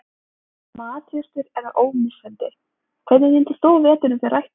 Matjurtir eru ómissandi Hvernig nýtir þú veturinn fyrir ræktun?